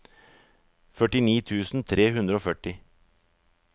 førtini tusen tre hundre og førti